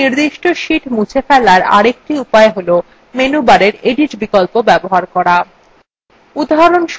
একটি নির্দিষ্ট sheet মুছে ফেলার আরেকটি উপায় হল menu bar edit বিকল্প bar করা